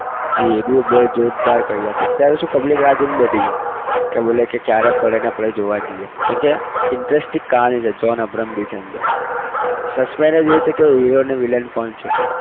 જે भी બહુ જોરદાર કર્યા છે અત્યારે શું public રાહ જોઇને બેઠી છે કે બોલે કે ક્યારે પડે અને આપણે જોવા જઈએ કેમકે interesting કહાની છે જ્હોન અબ્રાહમ બી છે અંદર. suspense એ છે કે hero અને villain કોણ છે?